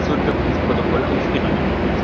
Ihre Intervention wird ins Protokoll aufgenommen.